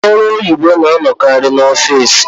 Ndị ọrụ oyibo na-anọkarị n'ọfici.